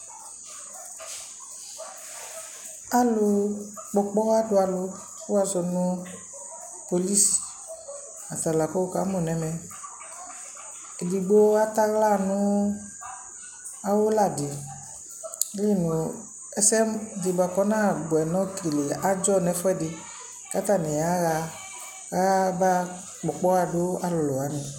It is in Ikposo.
Alʋ kpɔ ɔkpɔɣa dʋ alʋ, kʋ wʋ azɔ nʋ polis, ata la kʋ wʋ ka mʋ nʋɛmɛEdigbo atɛ aɣla nʋ awʋ la dι, ayili nʋ ɛsɛ dι bʋa kʋ ɔnabʋɛ nʋ okele adzɔ nʋ ɛfʋɛdι, kʋ atanι yaɣa kʋ abaɣa kpɔ ɔkpɔɣa dʋ alʋlʋ wanι